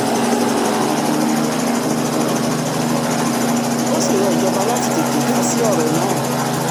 ó sì rọ ìjọba láti tètè dá sí ọ̀rọ̀ náà